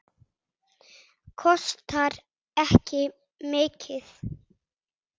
Kostar ekki mikið.